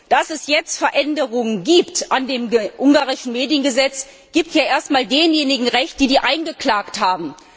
Dass es jetzt Veränderungen an dem ungarischen Mediengesetz gibt, gibt ja erst einmal denjenigen Recht, die diese eingeklagt haben.